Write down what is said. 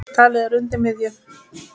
Talið er að undir miðju